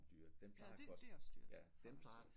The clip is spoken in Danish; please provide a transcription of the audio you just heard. Ja det det er også dyrt for os